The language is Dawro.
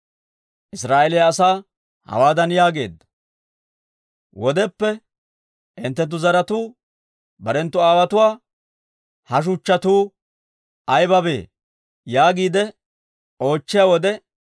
Israa'eeliyaa asaa hawaadan yaageedda; «Wodeppe hinttenttu zaratuu barenttu aawotuwaa, ‹Ha shuchchatuu aybabee?› yaagiide oochchiyaa wode,